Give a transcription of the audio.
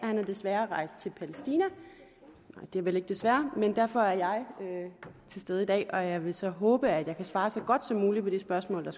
han er desværre rejst til palæstina det er vel ikke desværre men altså derfor at jeg er til stede i dag og jeg vil så håbe at jeg kan svare så godt som muligt på de spørgsmål der